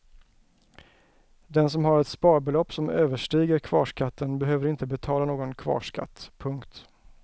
Den som har ett sparbelopp som överstiger kvarskatten behöver inte betala någon kvarskatt. punkt